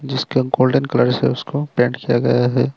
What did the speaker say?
जीसका golden colour से उसको paint किया गया है।